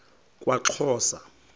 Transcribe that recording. kwaxhosa